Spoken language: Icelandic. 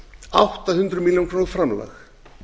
átta hundruð milljóna króna framlag